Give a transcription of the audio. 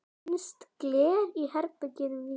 Finnst gler í berginu víða.